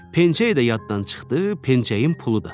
Pencəyi də yaddan çıxdı, pencəyin pulu da.